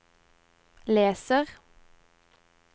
leser